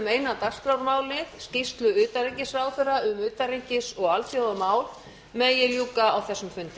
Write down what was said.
eina dagskrármálið skýrslu utanríkisráðherra um utanríkis og alþjóðamál megi ljúka á þessum